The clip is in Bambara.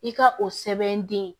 I ka o sɛbɛn di